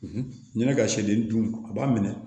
N'i bɛ ka seden dun a b'a minɛ